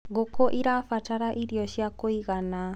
ngũkũ irabatara irio cia kũigana